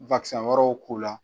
wɛrɛ k'u la.